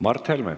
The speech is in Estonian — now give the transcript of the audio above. Mart Helme.